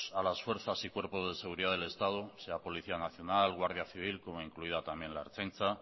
a las fuerzas y cuerpos de seguridad del estado sea policía nacional guardia civil como incluida también la ertzaintza